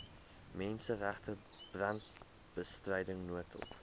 menseregte brandbestryding noodhulp